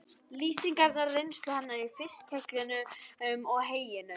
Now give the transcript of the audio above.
Lýsingarnar af reynslu hennar í fiskhjallinum og heyinu?